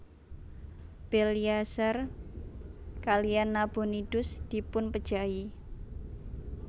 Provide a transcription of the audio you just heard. Belsyazar kaliyan Nabonidus dipupejahi